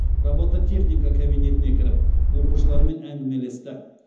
робототехника кабинетіне кіріп оқушылармен әңгімелесті